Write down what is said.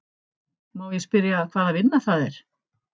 Má ég spyrja hvaða vinna það er?